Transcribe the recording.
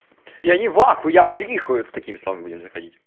я не в ахуе я в трихуе вот с такими словами будем заходить